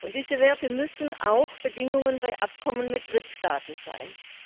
Und diese Werte müssen auch Bedingungen bei Abkommen mit Drittstaaten sein.